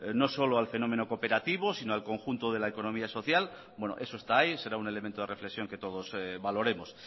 no solo al fenómeno cooperativo sino al conjunto de la economía social eso está ahí será un elemento de reflexión que todos valoremos